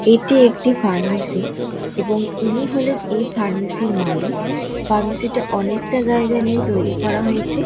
এটি একটি ফার্মাসি এবং ইনি হলেন এই ফার্মাসির মালিক। ফার্মাসিটা অনেকটা জায়গা নিয়ে তৈরী করা হয়েছে।